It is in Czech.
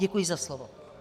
Děkuji za slovo.